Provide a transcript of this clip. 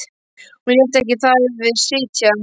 Hún lét ekki þar við sitja.